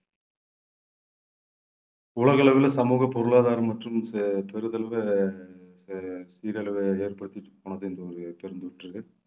உலக அளவுல சமூக பொருளாதாரம் மற்றும் பெரிதளவுல சீரழிவை ஏற்படுத்திட்டு போனது இந்த ஒரு பெருந்தொற்று